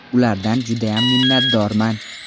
Ulardan judayam minnatdorman.